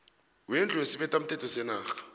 wendlu yesibethamthetho senarha